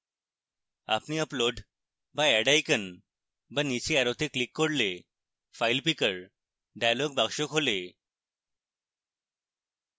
আপনি upload বা add icon বা নীচের অ্যারোতে click করলে file picker dialog box খোলে